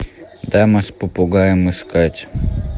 дама с попугаем искать